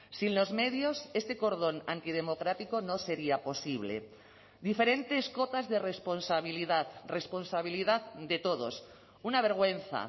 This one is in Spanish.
sin los medios este cordón antidemocrático no sería posible diferentes cotas de responsabilidad responsabilidad de todos una vergüenza